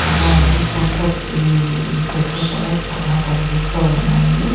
అలాగే చెట్లు కూడా చాలా కనిపిస్తూ ఉన్నాయి.